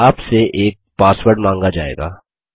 आपसे एक पासवर्ड माँगा जाएगा